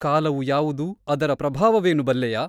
ಕಾಲವು ಯಾವುದು ಅದರ ಪ್ರಭಾವವೇನು ಬಲ್ಲೆಯಾ ?